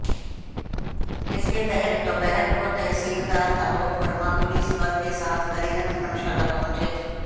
जिसके तहत दोपहर को तहसीलदार आलोक वर्मा पुलिस बल के साथ हरिजन धर्मशाला पहुंचे